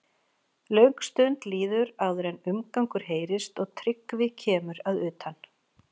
Löng stund líður áður en umgangur heyrist og Tryggvi kemur að utan.